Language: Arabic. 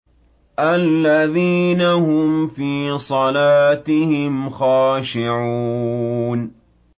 الَّذِينَ هُمْ فِي صَلَاتِهِمْ خَاشِعُونَ